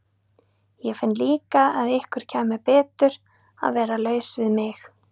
Ég finn líka að ykkur kæmi betur að vera laus við mig.